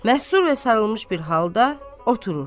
Məsru və sarılmış bir halda oturur.